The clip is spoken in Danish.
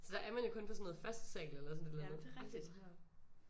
Så er man jo kun på sådan noget første sal eller sådan et eller andet aldrig højere oppe